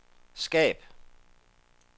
skab